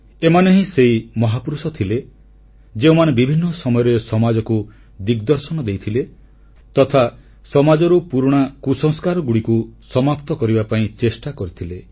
ଏମାନେ ହିଁ ସେହି ମହାପୁରୁଷ ଥିଲେ ଯେଉଁମାନେ ବିଭିନ୍ନ ସମୟରେ ସମାଜକୁ ଦିଗଦର୍ଶନ ଦେଇଥିଲେ ତଥା ସମାଜରୁ ପୁରୁଣା କୁସଂସ୍କାରଗୁଡ଼ିକୁ ସମାପ୍ତ କରିବା ପାଇଁ ଚେଷ୍ଟା କରିଥିଲେ